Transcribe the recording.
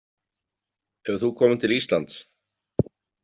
Hefur þú komið til Íslands?